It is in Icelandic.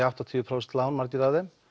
áttatíu prósent lán margir af þeim